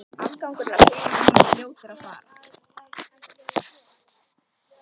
Afgangurinn af peningunum var fljótur að fara.